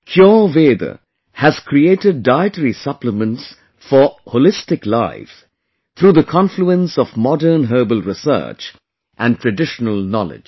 Cureveda has created dietary supplements for Holistic Life through the confluence of modern herbal research and traditional knowledge